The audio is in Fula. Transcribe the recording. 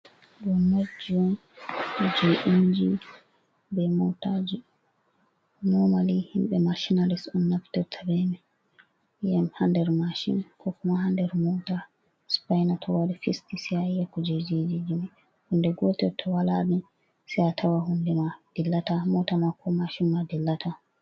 Ɗoo notji on jey inji bee mootaaji, "noomali" himɓe "maashinalist" on naftirta bee may, yi'ay ha nder "maashin, koo kuma" ha nder moota. "sipayna" to wari fisti sey a yi'a kuujeejiiji may. Hunnde gootel to walaa ni sey a tawa huunde maa dillataa, moota maa koo maashin maa dillataa.